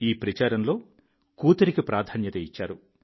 ఈ ప్రచారంలో కూతురికి ప్రాధాన్యత ఇచ్చారు